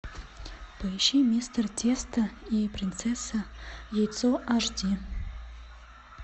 поищи мистер тесто и принцесса яйцо аш ди